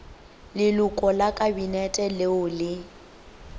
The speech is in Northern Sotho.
leloko la kabinete leo le